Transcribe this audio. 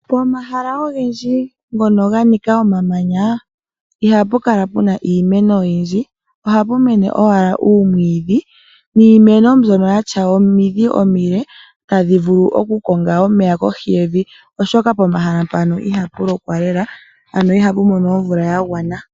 Pomahala ogendji ngoka ganika omamanya ihapu kala puna iimeno oyindji, ohapu mene owala uumwidhi niimeno mbyoka yina omidhi omile tadhi vulu okukonga omeya kohi yevi, oshoka pomahala mpaka ihapu lokwa lela ano ihapu mono omvula yagwana.